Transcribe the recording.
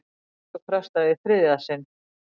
Gildistöku frestað í þriðja sinn